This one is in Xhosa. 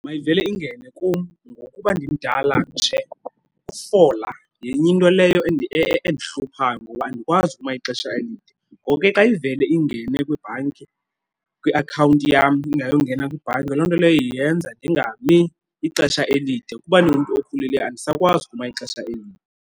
Mayivele ingene kum, ngokuba ndimdala nje ukufola yenye into leyo endihluphayo ngoba andikwazi uma ixesha elide. Ngoko ke xa ivele ingene kwibhanki, kwiakhawunti yam ingayongena kwibhanki, loo nto leyo yenza ndingami ixesha elide. Kuba ndingumntu okhulileyo, andisakwazi ukuma ixesha elide.